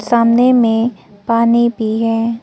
सामने में पानी भी है।